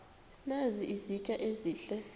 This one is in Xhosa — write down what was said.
nazi izitya ezihle